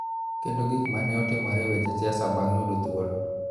Kendo gik ma ne otimore e weche siasa bang� yudo thuolo.